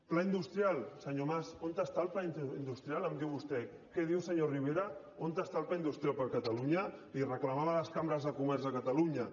pla industrial senyor mas on és el pla industrial em diu vostè què diu senyor rivera on està el pla industrial per a catalunya l’hi reclamaven les cambres de comerç de catalunya